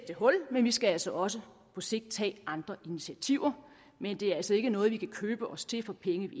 det hul men vi skal altså også på sigt tage andre initiativer men det er altså ikke noget vi kan købe os til for penge vi